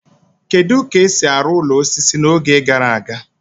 Kedu ka esi arụ ụlọ osisi n'oge gara aga?